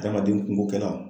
Adamaden kunko kɛla.